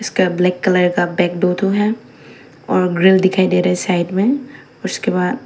इसका black colour का back दो दो है और ग्रिल दिखाई दे रही है साइड में उसके बाद--